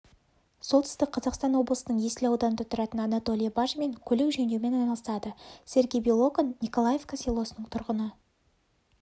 солтүстік қазақстан облысының есіл ауданында тұратын анатолий бажмин көлік жөндеумен айналысады сергей белоконь николаевка селосының тұрғыны